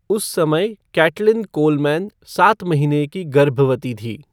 उस समय Caitlin Coleman सात महीने की गर्भवती थी।